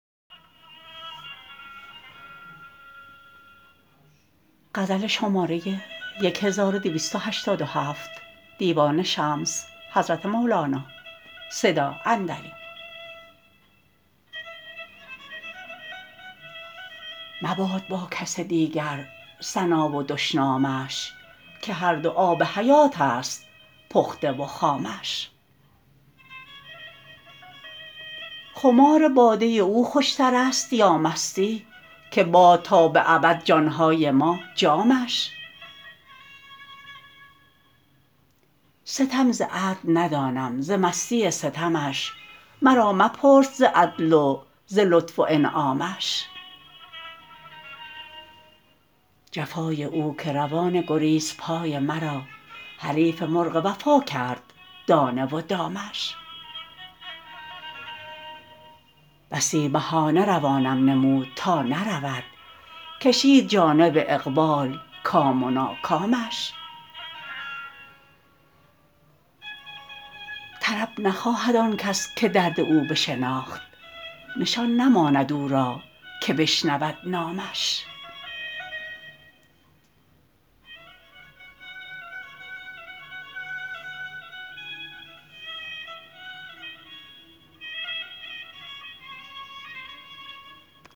مباد با کس دیگر ثنا و دشنامش که هر دو آب حیاتست پخته و خامش خمار باده او خوشترست یا مستی که باد تا به ابد جان های ما جامش ستم ز عدل ندانم ز مستی ستمش مرا مپرس ز عدل و ز لطف و انعامش جفای او که روان گریزپای مرا حریف مرغ وفا کرد دانه و دامش بسی بهانه روانم نمود تا نرود کشید جانب اقبال کام و ناکامش طرب نخواهد آن کس که درد او بشناخت نشان نماند او را که بشنود نامش